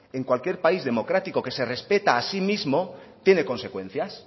en cualquier país democrático que se respeta a sí mismo tiene consecuencias